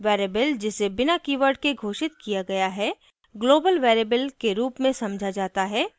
variable जिसे बिना keyword के घोषित किया गया है global variable के रूप में समझा जाता है